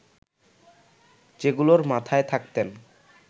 যেগুলোর মাথায় থাকতেন